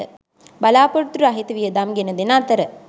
බලා‍පොරොත්තු රහිත වියදම් ගෙනදෙන අතර